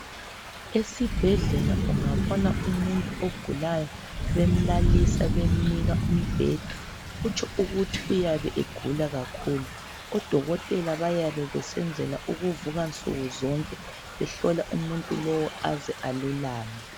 Esibhedlela ungabona umuntu ogulayo bemlalisa bemnika umbheda kutsho ukuthi uyabe egula kakhulu. Odokotela bayabe besenzela ukuvuka nsukuzonke behlola umuntu lowu aze alulame.